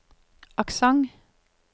aksent